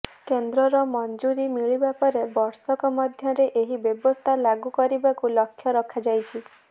କେନ୍ଦ୍ରର ମଂଜୁରୀ ମିଳିବା ପରେ ବର୍ଷକ ମଧ୍ୟରେ ଏହି ବ୍ୟବସ୍ଥା ଲାଗୁ କରିବାକୁ ଲକ୍ଷ୍ୟ ରଖାଯାଇଛି